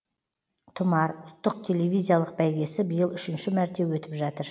тұмар ұлттық телевизиялық бәйгесі биыл үшінші мәрте өтіп жатыр